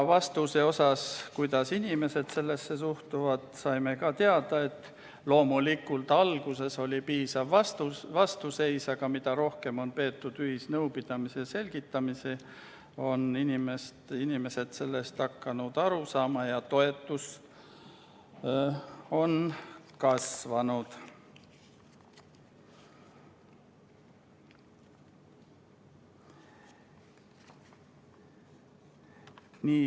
Vastuseks küsimusele, kuidas töötajad kõigesse suhtuvad, saime teada, et loomulikult alguses oli päris suur vastuseis, aga mida rohkem on olnud ühisnõupidamisi, selgitamisi, seda paremini on inimesed hakanud kõigest aru saama ja toetus on kasvanud.